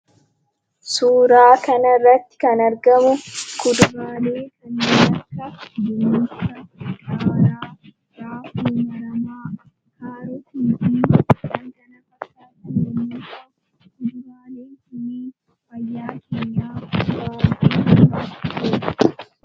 Suuraa kanarratti kan argamu kuduraalee kanneen akka dinnicha, qaaraa, raafuu maramaa, kaarotiifi kan kana fakkaatan yemmuu ta'an, kuduraaleen kunniin , fayyaa keenyaaf faayidaa hedduu qaba.